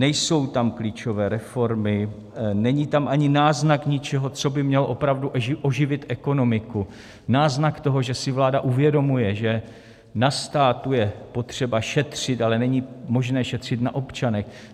Nejsou tam klíčové reformy, není tam ani náznak něčeho, co by mělo opravdu oživit ekonomiku, náznak toho, že si vláda uvědomuje, že na státu je potřeba šetřit, ale není možné šetřit na občanech.